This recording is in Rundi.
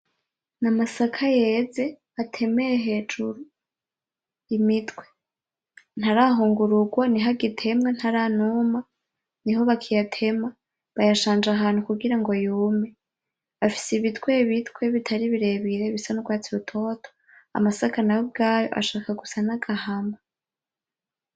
Amasaka yeze, atemeye hejuru imitwe. Ntarahungurugwa, niho agitemwa, ntaranuma, niho bakiyatema. Bayashanje ahantu kugira ngo yume. Afise ibitwebitwe bitari birebire bisa n'urwatsi rutoto. Amasaka nayo ubwayo ashaka gusa n'agahama.